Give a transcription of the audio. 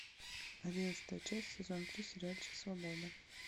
одиннадцатая часть сезон три сериальчик свобода